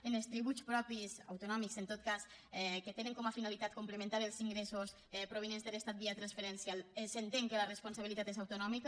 en els tributs propis autonòmics en tot cas que tenen com a finalitat complementar els ingressos provinents de l’estat via transferència s’entén que la responsabilitat és autonòmica